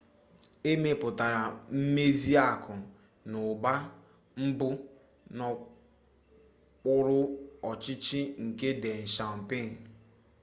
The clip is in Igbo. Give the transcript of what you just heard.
e mepụtara mmezi akụ na ụba mbụ n'okpuru ọchịchị nke deng xiaoping